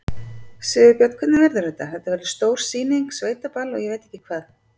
Sigurbjörn, hvernig verður þetta, þetta verður stór sýning, sveitaball og ég veit ekki hvað?